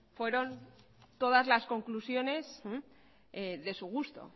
fueron todas las conclusiones de su gusto